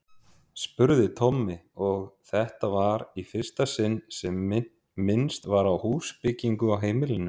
spurði Tommi, og þetta var í fyrsta sinn sem minnst var á húsbyggingu á heimilinu.